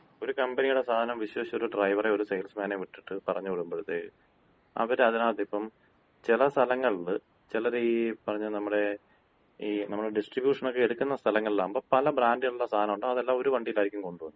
ഒരു കമ്പനിയുടെ സാധനം വിശ്വസിച്ച് ഒര് ഡ്രൈവറെയോ ഒര് സെയിൽസ്മാനേയൊ വിട്ടിട്ട് പറഞ്ഞ് വിടുമ്പഴത്തേയ്ക്ക് അവര് അതിനകത്തിപ്പം ചെല സ്ഥലങ്ങളില് ചെലര് ഈ പറഞ്ഞ നമ്മടെ ഈ നമ്മട ഡിസ്ട്രിബ്യൂഷനക്കെ എടുക്കുന്ന സ്ഥലങ്ങളിലാവുമ്പോ പല ബ്രാൻഡുകളുടെ സാധനം ഉണ്ടാവും. അതെല്ലാം ഒരു വണ്ടിയിൽ ആയിരിക്കും കൊണ്ടുപോവുന്നത്.